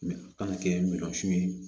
Mɛ a kan ka kɛ milyɔn ye